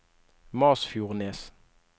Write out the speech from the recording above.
Masfjordnes